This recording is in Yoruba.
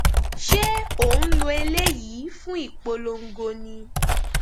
ṣé ò ń lo eléyìí fún ìpolongo ni